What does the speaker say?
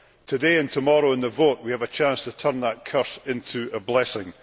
Today, and tomorrow in the vote, we have a chance to turn that curse into a blessing.